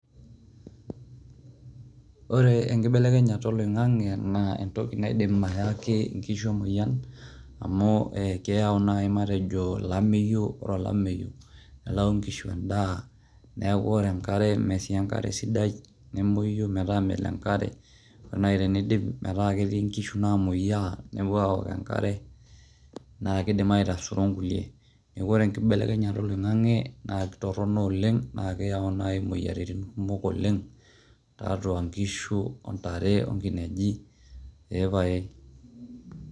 Ore enkibelekenyata oloingange na entoki naidim ayaki nkishu emoyian, amu keyau najii matejo olameyu, ore olameyu nelayu nkishu endaa, niaku ore enkare meti enkare sidai, nemoyu meeta melo enkare ore naji tendip meeta keti nkishu namoyia, nepuo aok enkare na kindim aitasuro nkulie, niaku ore enkibelekenyata oloingange na kitono oleng, na keyau naji imoyiaritin kumok oleng tiatua nkishu, ontare, onkineji, ee pae